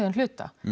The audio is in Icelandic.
hluta